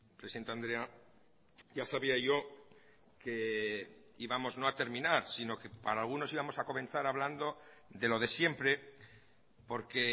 presidente andrea ya sabía yo que íbamos no a terminar sino que para algunos íbamos a comenzar hablando de lo de siempre porque